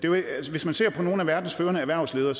hvis man ser på nogle af verdens førende erhvervsledere